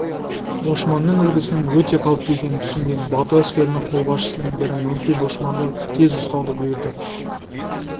бошманның үлгісінің өте қауіпті екенін түсінген бату әскерінің қолбасшысының бірі мөңке бошманды тез ұстауды бұйырды